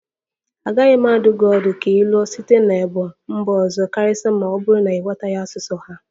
Agaghị m adụ gị ọdụ ka ị lụọ site n'ebo mba ọzọ karịsịa ma ọ bụrụ na ị ghọtaghị asụsụ ha